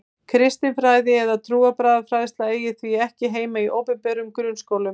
Kristin fræði eða trúarbragðafræðsla eigi því ekki heima í opinberum grunnskólum.